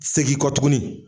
Segin kɔ tugunni.